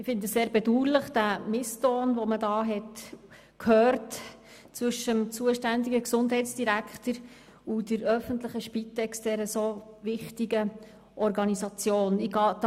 Ich finde den Misston zwischen dem zuständigen Gesundheitsdirektor und der öffentlichen Spitex, dieser so wichtigen Organisation, sehr bedauerlich.